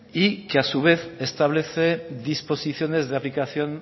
y que a su vez establece disposiciones de aplicación